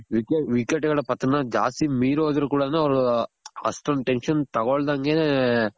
wicket ಗಳ ಪತನ ಜಾಸ್ತಿ ಮೀರ್ ಹೋದ್ರು ಕೂಡನು ಅವ್ರು ಅಷ್ಟೊಂದ್ tension ತಗೊಳ್ದಂಗೆನೆ